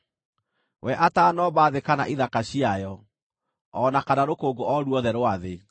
we atanoomba thĩ kana ithaka ciayo, o na kana rũkũngũ o ruothe rwa thĩ.